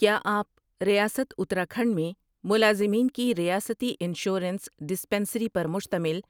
کیا آپ ریاست اتراکھنڈ میں ملازمین کی ریاستی انشورنس ڈسپنسری پر مشتمل